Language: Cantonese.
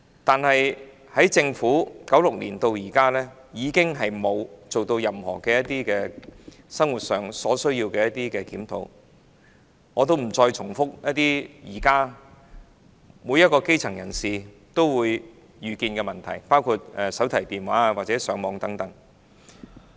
不過，政府自1996年至今並沒有對生活需要進行檢討，我不再重複現時基層人士可能遇到的問題，包括手提電話或上網等。